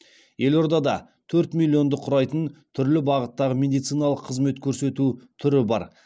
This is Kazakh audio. елордада төрт миллионды құрайтын түрлі бағыттағы медициналық қызмет көрсету түрі бар